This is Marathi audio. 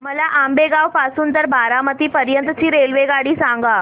मला आंबेगाव पासून तर बारामती पर्यंत ची रेल्वेगाडी सांगा